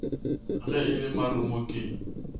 ge e le marumo ke